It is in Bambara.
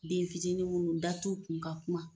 Den fitinin minnu da t'o kun ka kuma,